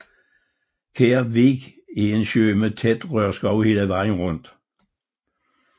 Kær Vig er en sø med tæt rørskov hele vejen rundt